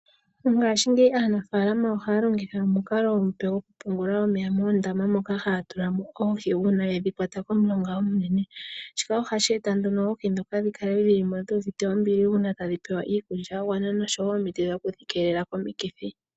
Mongashingeyi aanafaalama ohaya longitha omukalo omupe gokupungula omeya moondama moka haya tula mo oohi. Uuna yedhi kwata komulonga omunene ,shika ohashi eta nduno oohi ndhika dhi kale dhu uvite ombili uuna tadhi pewa iikulya ya gwana noshowo omiti dhokudhikeelela komikithi.